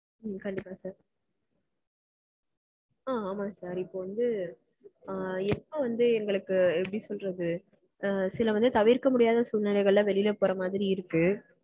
ஆஹ் கண்டிப்பா sir. ஆமா sir. இப்போ வந்து எங்களுக்கு எப்படி சொல்றது சில வந்து தவிர்க்க முடியாத சூழ்நிலைகள்ல வெளில போற மாதிரி இருக்கு.